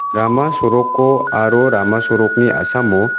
rama soroko aro rama sorokni a·samo--